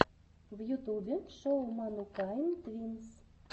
в ютубе шоу манукайн твинс